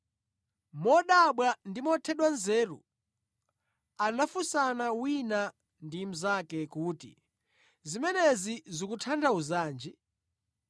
Modabwa ndi mothedwa nzeru anafunsana wina ndi mnzake kuti, “Zimenezi zikutanthauzanji?”